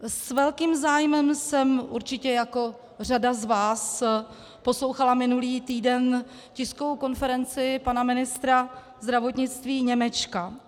S velkým zájmem jsem, určitě jako řada z vás, poslouchala minulý týden tiskovou konferenci pana ministra zdravotnictví Němečka.